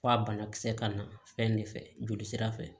F'a banakisɛ ka na fɛn ne fɛ jolisira fɛ